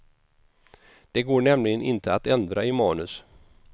Det går nämligen inte att ändra i manus.